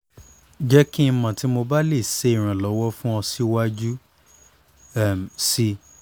jẹ ki o mọ ti mo ba le ṣe iranlọwọ fun ọ siwaju sii